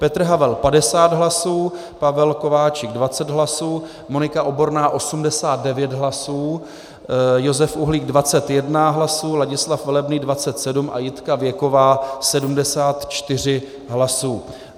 Petr Havel 50 hlasů, Pavel Kováčik 20 hlasů, Monika Oborná 89 hlasů, Josef Uhlík 21 hlasů, Ladislav Velebný 27 a Jitka Věková 74 hlasů.